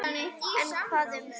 En hvað um það